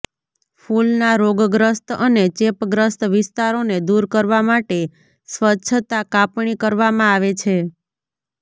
ફૂલના રોગગ્રસ્ત અને ચેપગ્રસ્ત વિસ્તારોને દૂર કરવા માટે સ્વચ્છતા કાપણી કરવામાં આવે છે